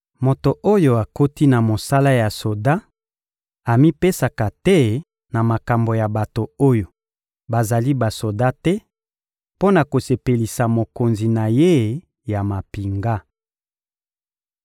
Moto oyo akoti na mosala ya soda amipesaka te na makambo ya bato oyo bazali basoda te mpo na kosepelisa mokonzi na ye ya mampinga.